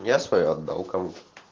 я свою отдал кому